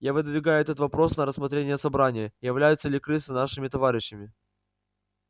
я выдвигаю этот вопрос на рассмотрение собрания являются ли крысы нашими товарищами